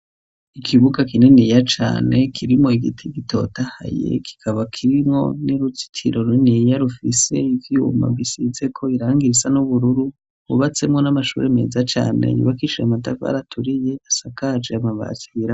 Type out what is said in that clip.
Ikibuga kininiya cane kirimwo igiti gitota haye kikaba kirimwo n'irutikiro rineya rufise ivyuma bisizeko irangira isa n'ubururu ubatsemwo n'amashuri meza cane nyuba kicira matavaraturiye asakaje yamabasira.